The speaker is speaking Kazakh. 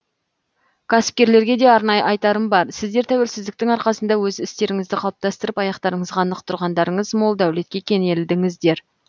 кәсіпкерлерге де арнайы айтарым бар сіздер тәуелсіздіктің арқасында өз істеріңізді қалыптастырып аяқтарыңызға нық тұрдыңыздар мол дәулетке кенелдіңіздер